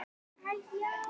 Æ-já, hann.